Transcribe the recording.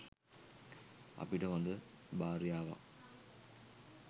අපිට හොඳ භාර්යාවක්